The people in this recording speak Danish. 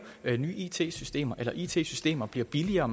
nye it systemer eller it systemer bliver billigere